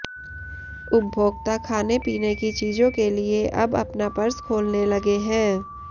उपभोक्ता खाने पीने की चीजों के लिए अब अपना पर्स खोलने लगे हैं